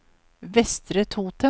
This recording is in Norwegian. Vestre Toten